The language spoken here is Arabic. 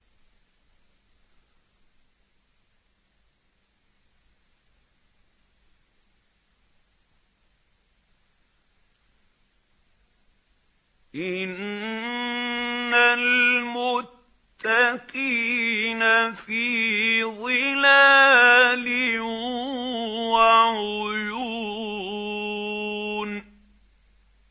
إِنَّ الْمُتَّقِينَ فِي ظِلَالٍ وَعُيُونٍ